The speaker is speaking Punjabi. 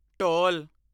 ਢੋਲ